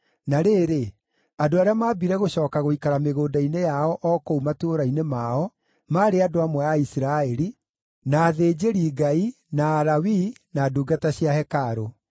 Na rĩrĩ, andũ arĩa maambire gũcooka gũikara mĩgũnda-inĩ yao o kũu matũũra-inĩ mao, maarĩ andũ amwe a Isiraeli, na athĩnjĩri-Ngai, na Alawii, na ndungata cia hekarũ.